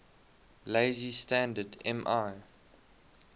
lazy standard ml